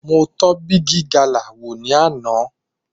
Mo tọ́ bígí galà wò ní àná.